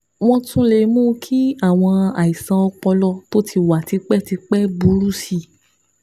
Wọ́n tún lè mú kí àwọn àìsàn ọpọlọ tó ti wà tipẹ́tipẹ́ burú sí i